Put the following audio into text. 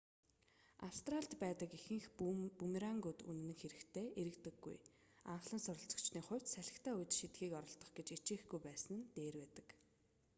австралид байдаг ихэнх бүүмерангууд үнэн хэрэгтээ эргэдэггүй анхлан суралцагчдын хувьд салхитай үед шидэхийг оролдох гэж хичээхгүй байсан нь дээр байдаг